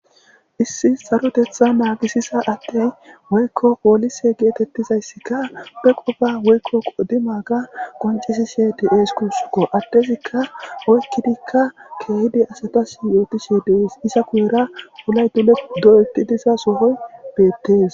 issi sarotetha naagisisa addey woykko poolise geetettizayssika pe qopa woykko qodima ga qonces sheti7es kusukko addezikka oykkidikka keehidi asatas yootishe dees isa kuyera wulay dule do'etidisa sohoy beettees